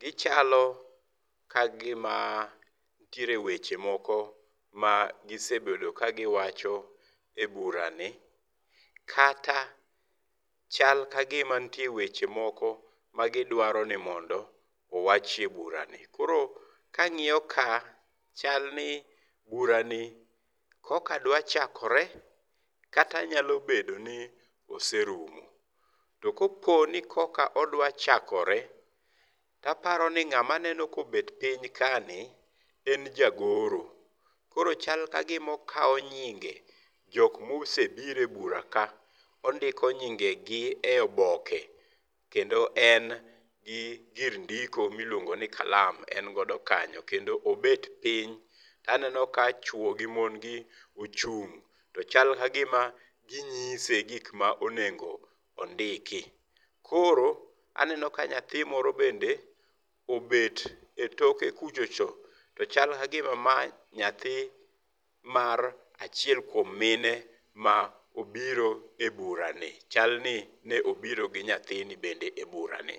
gichalo kagima nitiere weche moko magise bedo ka giwacho eburani, kata chal kagima nitie weche moko magidwaro ni mondo owachi eburani, koro kang'iyoka chalni burani koka dwa chakore, kata nyalo bedo ni oserumo. Tokopo ni koka odwa chakore, taparo ni ng'ama aneno kobet piny kani ,en jagoro. Koro chal kagima okawo nyinge jok mose biro ebura ka, ondiko nyingegi eoboke, kendo en gi gir ndiko miluongo ni kalam, en godo kanyo, kendo obet piny. Taneno kachuo gi mon gi ochung' to chal kagima ginyise gik ma onego ondiki. Koro aneno ka nyathi moro bende obet etoke kucho cho, to chal kagima ma nyathi mar achiel kuom mine ma obiro eburani, chalni ne obiro gi nyathini bende eburani.